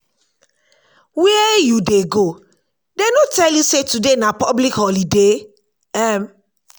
where you dey go? dey no tell you say today na public holiday? um